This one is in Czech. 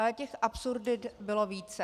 Ale těch absurdit bylo více.